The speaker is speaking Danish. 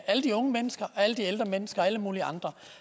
alle de unge mennesker alle de ældre mennesker og alle mulige andre